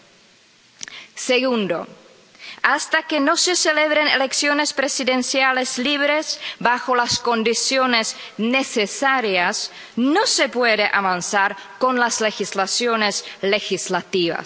Y, segundo, hasta que no se celebren elecciones presidenciales libres con las condiciones necesarias, no se puede avanzar con las medidas legislativas.